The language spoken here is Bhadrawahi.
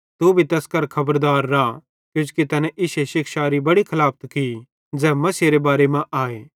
तू भी तैस करां खबरदार रा किजोकि तैने इश्शे शिक्षारी बड़ी खलाफत की ज़ै मसीहेरे बारे मां आए